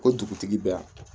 Ko dugutigi bɛ yan